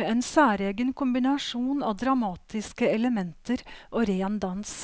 med en særegen kombinasjon av dramatiske elementer og ren dans.